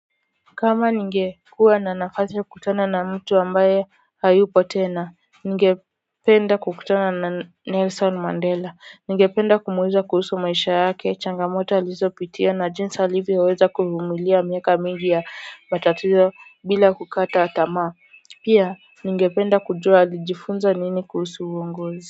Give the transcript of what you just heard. Kama ningekuwa na nafasi ya kukutana na mtu ambaye hayupo tena ningependa kukutana na Nelson Mandela. Ningependa kumuuliza kuhusu maisha yake changamoto alizopitia na jinsi alivyoweza kuvumilia miaka mingi ya matatizo bila kukata tamaa pia ningependa kujua alijifinza nini kuhusu uongozi.